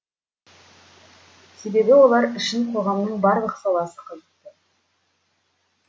себебі олар үшін қоғамның барлық саласы қызықты